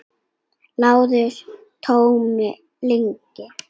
LÁRUS: Tóm lygi!